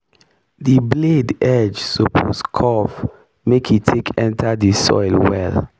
di blade edge suppose curve make e take enta di soil well.